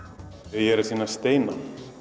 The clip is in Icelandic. ég er að sýna steina